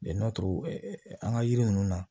an ka yiri ninnu na